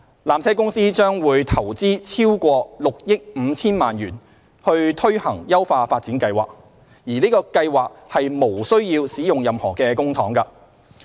纜車公司將投資逾6億 5,000 萬元推行優化發展計劃，而此計劃無須使用任何公帑。